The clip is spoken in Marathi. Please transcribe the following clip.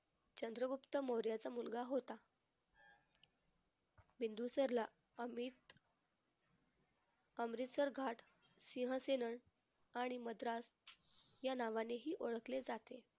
चंद्रगुप्त मौर्याचा मुलगा होता. बिंदुसरला अमित अमृतसर घाट आणि मद्रास या नावानेही ओळखले जाते.